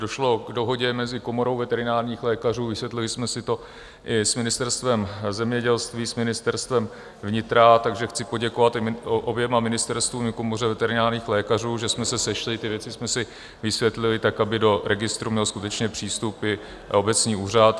Došlo k dohodě mezi Komorou veterinárních lékařů, vysvětlili jsme si to i s Ministerstvem zemědělství, s Ministerstvem vnitra, takže chci poděkovat oběma ministerstvům i Komoře veterinárních lékařů, že jsme se sešli, ty věci jsme si vysvětlili tak, aby do registru měl skutečně přístup i obecní úřad.